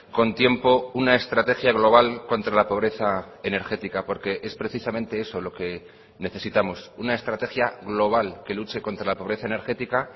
con tiempo una estrategia global contra la pobreza energética porque es precisamente eso lo que necesitamos una estrategia global que luche contra la pobreza energética